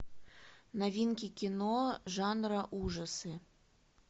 новинки кино жанра ужасы